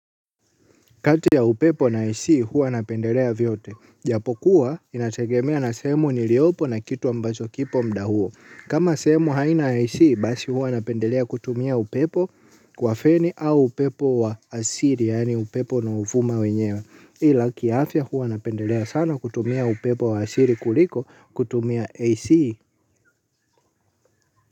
Kati ya upepo na ac, huwa napendelea vyote. Japokuwa, inategemea na sehemu niliopo na kitu ambacho kipo mda huo. Kama sehemu haina ac, basi huwa napendelea kutumia upepo wa feni au upepo wa asili, yaani upepo unaofuma wenyewe. Ila kiafya huwa napendelea sana kutumia upepo wa asili kuliko kutumia ac.